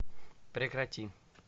прекрати